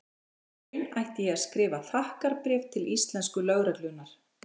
Í raun ætti ég að skrifa þakkarbréf til íslensku lögreglunnar.